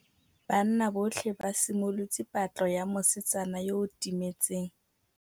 Banna botlhê ba simolotse patlô ya mosetsana yo o timetseng.